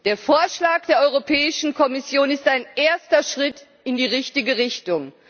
Der Vorschlag der Kommission ist ein erster Schritt in die richtige Richtung.